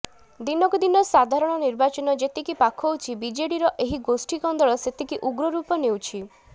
ଦିନକୁ ଦିନ ସାଧାରଣ ନିର୍ବାଚନ ଯେତିକି ପାଖଉଛି ବିଜେଡିର ଏହି ଗୋଷ୍ଠି କନ୍ଦଳ ସେତିକି ଉଗ୍ରରୂପ ନେଉଛି